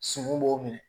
Sun b'o minɛ